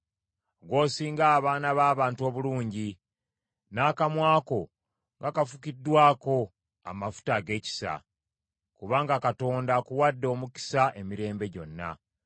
Ggw’osinga abaana b’abantu obulungi; n’akamwa ko nga kafukiddwako amafuta ag’ekisa. Kubanga Katonda akuwadde omukisa emirembe gyonna.